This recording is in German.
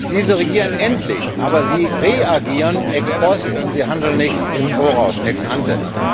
Diese reagieren endlich, aber sie reagieren ex post, sie handeln nicht im Voraus, ex ante.